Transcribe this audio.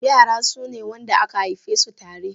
Yara sune wanda aka haifesu tare.